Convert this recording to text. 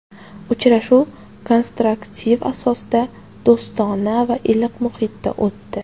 Uchrashuv konstruktiv asosda, do‘stona va iliq muhitda o‘tdi.